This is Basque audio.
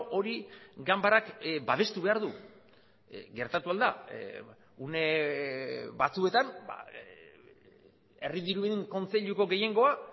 hori ganbarak babestu behar du gertatu ahal da une batzuetan herri diruen kontseiluko gehiengoa